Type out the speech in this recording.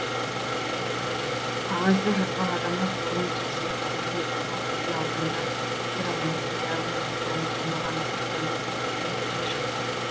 қағазды жазған адамның қолын тексеріп көріп еді ол кезде ауданда хиромантия өнері дами қоймаған ды одан да берекелі нәтиже шықпады